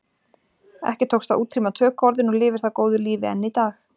Ekki tókst að útrýma tökuorðinu og lifir það góðu lífi enn í dag.